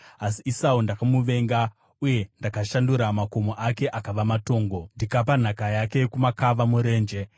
Asi Esau ndakamuvenga, uye ndakashandura makomo ake akava matongo ndikapa nhaka yake kumakava murenje.”